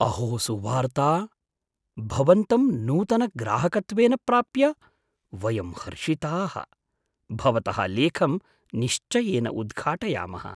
अहो सुवार्ता! भवन्तं नूतनग्राहकत्वेन प्राप्य वयं हर्षिताः। भवतः लेखं निश्चयेन उद्घाटयामः।